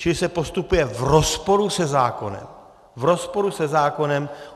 Čili se postupuje v rozporu se zákonem, v rozporu se zákonem!